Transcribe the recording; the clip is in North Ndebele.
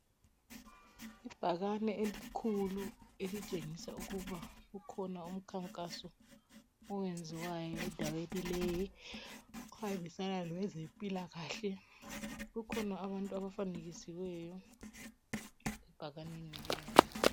Ibhakani elikhulu elitshengisa ukuba kukhona umkhankaso owenziwayo endaweni leyi okuhambisana lokwe zempilakahle kukhona abantu abafanekisiweyo ebhakanini